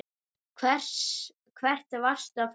Hvert varstu að fara?